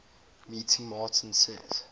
meeting martin says